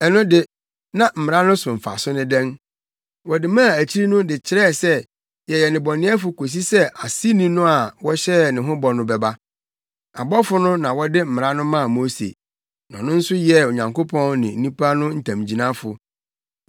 Ɛno de, na Mmara no so mfaso ne dɛn? Wɔde maa akyiri no de kyerɛɛ sɛ yɛyɛ nnebɔneyɛfo kosi sɛ Aseni no a wɔhyɛɛ ne ho bɔ no bɛba. Abɔfo no na wɔde Mmara no maa Mose, na ɔno nso yɛɛ Onyankopɔn ne nnipa no ntamgyinafo.